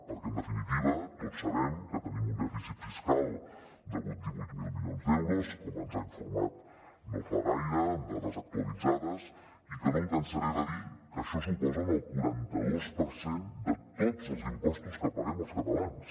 perquè en definitiva tots sabem que tenim un dèficit fiscal de divuit mil milions d’euros com ens ha informat no fa gaire amb dades actualitzades i que no em cansaré de dir que això suposa el quaranta dos per cent de tots els impostos que paguem els catalans